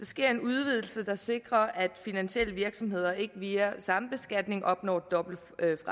sker en udvidelse der sikrer at finansielle virksomheder ikke via sambeskatning opnår dobbelt